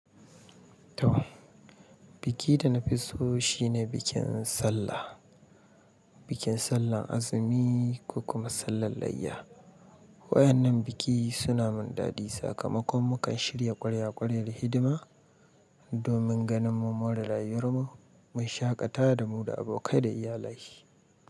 To, biki da na fi so shine bikin Sallah, bikin Sallah azumi ko kuma Sallah layya. Waƴannan biki suna mun dadi sakamakon mukan shirya ƙwarya ƙwaryan hidima domin ganin mummore rayuwarmu, mun shaƙata da mu da abokai da iyalai.